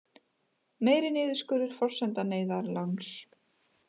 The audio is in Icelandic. Meiri niðurskurður forsenda neyðarláns